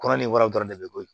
Kɔrɔn ni wara dɔrɔn de be bɔ yen